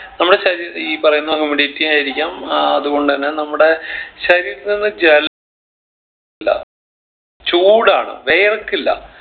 നമ്മളെ ശരീര ഈ പറയുന്ന humidity ആയിരിക്കാം ആഹ് അത് കൊണ്ട് തന്നെ നമ്മടെ ശരീരത്തിൽ നിന്ന് ജെൽ ല ചൂടാണ് വിയർക്കില്ല